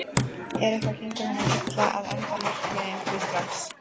En eitthvað gengur honum illa að enda markmiðin því strax